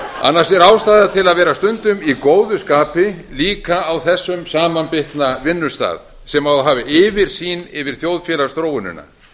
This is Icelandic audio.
annars er ástæða til að vera stundum í góðu skapi líka á þessum samanbitna vinnustað sem á að hafa yfirsýn yfir þjóðfélagsþróunina